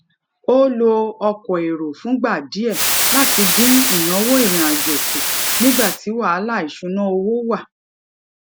ó lo ọkọ èrò fúngbà díẹ láti dín ìnáwó ìrìnàjò kù nígbà tí wàhálà ìṣúnná owó wà